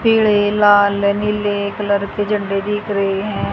पीले लाल नीले कलर के झंडे दिख रहे हैं।